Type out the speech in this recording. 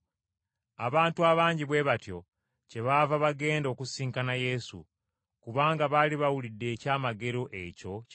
Abantu abangi bwe batyo kyebaava bagenda okusisinkana Yesu, kubanga baali bawulidde ekyamagero ekyo kye yakola.